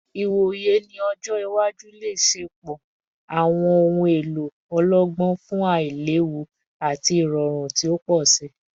Iwoye ni ọjọ iwaju le ṣepọ awọn ohun elo ọlọgbọn fun ailewu ati irọrun ti o pọ si